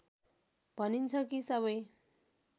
भनिन्छ कि सबै